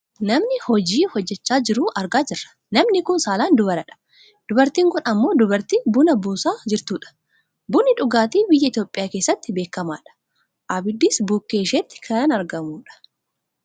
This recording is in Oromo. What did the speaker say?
Nama hojii hojjachaa jiru argaa jirra . Namni kun saalaan dubaradha . Dubartiin kun ammoo dubartii buna buusaa jirtudha. Bunni dhugaatii Biyya Itoophiyaa keessatti beekamadha. Abiddis bukkee isheetti kan argamudha.